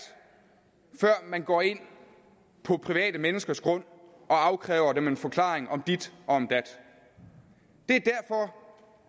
før man går ind på private menneskers grund og afkræver dem en forklaring om dit og om